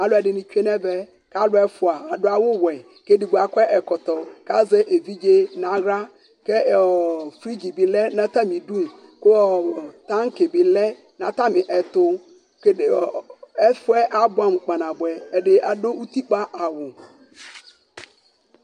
ALU ɛdini tsoé nɛ vɛ ka aku ɛfoa adu awu wɛ ku édigbo akɔ ɛkɔtɔ ka zɛ évidzé na xla ku flidzi di lɛ na tami du ku tanki bi lɛ na tami ɛtu ɛfuɛ abuamu kpanabuɛ ɛdi adu utikpa awu